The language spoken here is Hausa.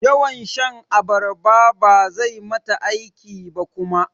Yawan shan abarba bazai mata aiki ba kuma.